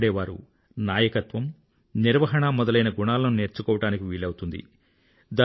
అక్కడే వారు నాయకత్వం నిర్వాహణ మొదలైన గుణాలను నేర్చుకోవడం వీలవుతుంది